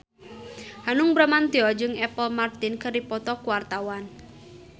Hanung Bramantyo jeung Apple Martin keur dipoto ku wartawan